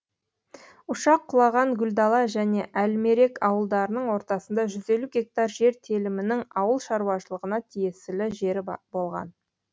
ұшақ құлаған гүлдала жән әлмерек ауылдарының ортасындағы жүз елу гектар жер телімінің ауыл шаруашылығына тиесілі жер болған